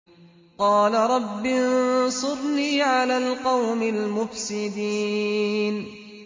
قَالَ رَبِّ انصُرْنِي عَلَى الْقَوْمِ الْمُفْسِدِينَ